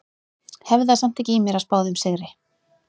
Hef það samt ekki í mér að spá þeim sigri.